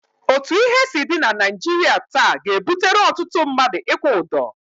Otu ihe si dị na Naịjirịa taa ga-ebutere ọtụtụ mmadụ ịkwụ ụdọ.